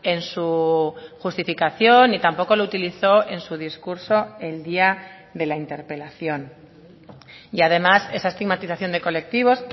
en su justificación ni tampoco lo utilizó en su discurso el día de la interpelación y además esa estigmatización de colectivos